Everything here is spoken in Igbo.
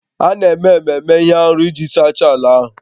A na-eme ememe ihe arụ iji sachaa ala ahụ